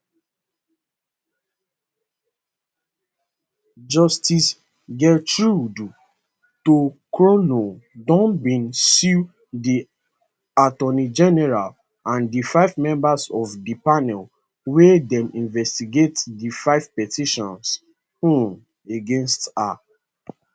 justice gertrude torkornoo now bin sue di attorney general and di five members of di panel wia dey investigate di five petitions um against her